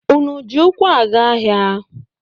Unu ji ụkwụ aga ahịa?